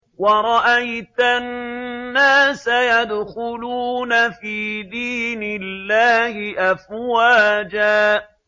وَرَأَيْتَ النَّاسَ يَدْخُلُونَ فِي دِينِ اللَّهِ أَفْوَاجًا